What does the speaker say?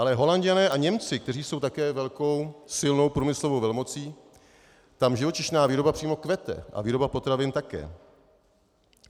Ale Holanďané a Němci, kteří jsou také velkou, silnou průmyslovou velmocí, tam živočišná výroba přímo kvete a výroba potravin také.